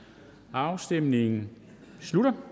afstemningen slutter